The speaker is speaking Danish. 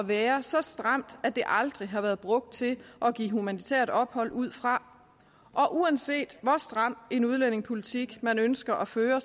være så stramt at det aldrig har været brugt til at give humanitært ophold ud fra og uanset hvor stram en udlændingepolitik man ønsker at føre